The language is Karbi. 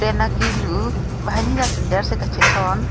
pen akilu banghini ta sandel si kachethon.